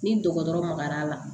Ni dɔgɔtɔrɔ magar'a la